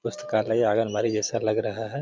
पुस्तकालय आंगनबाड़ी जैसा लग रहा है।